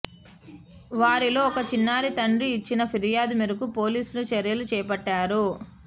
వారిలో ఒక చిన్నారి తండ్రి ఇచ్చిన ఫిర్యాదు మేరకు పోలీసులు చర్యలు చేపట్టారు